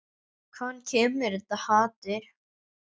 Hvaðan kemur þetta hatur?